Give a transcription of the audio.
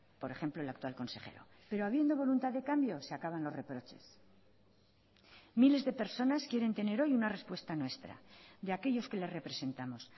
por ejemplo el actual consejero pero habiendo voluntad de cambios se acaban los reproches miles de personas quieren tener hoy una respuesta nuestra de aquellos que les representamos